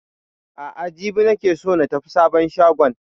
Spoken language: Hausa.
A'a jibi ne nake so na tafi sabon shagon